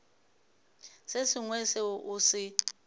se sengwe seo o se